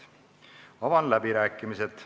Avan läbirääkimised.